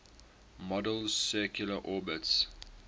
model's circular orbits